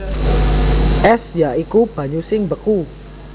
Ès ya iku banyu sing mbeku